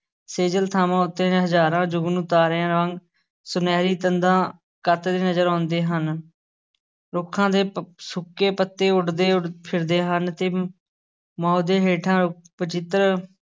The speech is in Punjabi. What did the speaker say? ਸੇਜਲ ਥਾਂਵਾਂ ਉੱਤੇ ਹਜ਼ਾਰਾਂ ਜੁਗਨੂੰ ਤਾਰਿਆਂ ਵਾਂਗ ਸੁਨਹਿਰੀ ਤੰਦਾਂ ਕੱਤਦੇ ਨਜ਼ਰ ਆਉਂਦੇ ਹਨ, ਰੁੱਖਾਂ ਦੇ ਪ~ ਸੁੱਕੇ ਪੱਤੇ ਉੱਡਦੇ ਫਿਰਦੇ ਹਨ ਤੇ ਦੇ ਹੇਠਾਂ ਵਚਿੱਤਰ